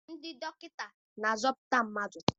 Ndị dọkịta na-azọpụta ndụ.